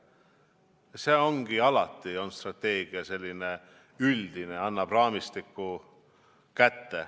Strateegia ongi alati selline üldine, annab raamistiku kätte.